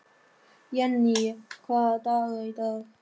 Jenni, hvaða dagur er í dag?